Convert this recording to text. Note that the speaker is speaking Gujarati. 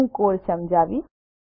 હું કોડ સમજાવીશ